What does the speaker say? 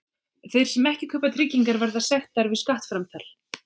Þeir sem ekki kaupa tryggingar verða sektaðir við skattframtal.